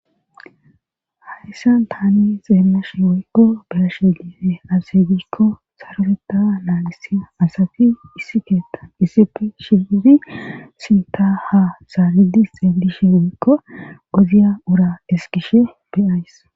hayssan tani xelashe woykko beyasheine aseygikko saroreta naalisi asati issi keetta isip shifi sinta ha saalidis xeelishe woykko godiya wora ezigishe beyays